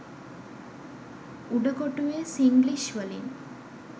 උඩ කොටුවෙ සිංග්ලිෂ් වලින්